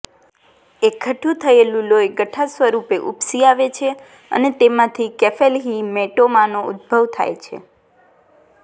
એકઠું થયેલ લોહી ગઠ્ઠા સ્વરૂપે ઉપસી આવે છે અને તેમાંથી કેફેલહીમેટોમાનો ઉદ્ભવ થાય છે